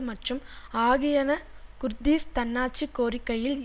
மற்றும் ஆகியன குர்தீஸ் தன்னாட்சி கோரிக்கையில்